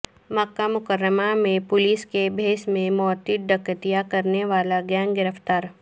مکہ مکرمہ میں پولیس کے بھیس میں متعدد ڈکیتیاں کرنے والا گینگ گرفتار